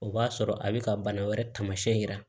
O b'a sɔrɔ a bɛ ka bana wɛrɛ taamasiyɛn yira